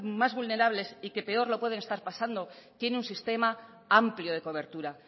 más vulnerables y que peor lo pueden estar pasando tiene un sistema amplio de cobertura